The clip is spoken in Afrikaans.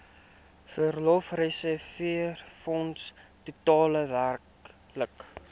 verlofreserwefonds totaal werklik